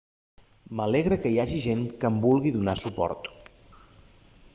m'alegra que hi hagi gent que em vulgui donar suport